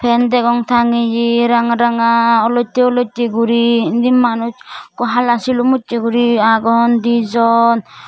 fan degong tangeyi ranga ranga olotti olotti guri indi manuj ekku hala sulum ujji guri agon dijon.